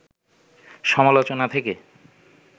সমালোচনা থেকে